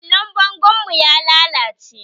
Allon bangon mu ya lallace